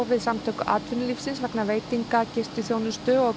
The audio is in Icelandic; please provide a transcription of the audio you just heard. við Samtök atvinnulífsins vegna veitinga gistiþjónustu og